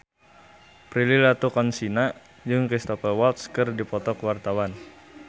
Prilly Latuconsina jeung Cristhoper Waltz keur dipoto ku wartawan